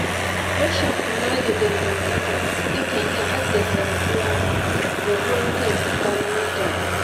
Rashin kula da dangantaka yakan iya haddasa rabuwar kai tsakanin mutane